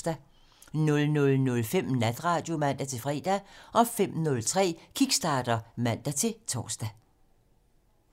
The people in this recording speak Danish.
00:05: Natradio (man-fre) 05:03: Kickstarter (man-tor)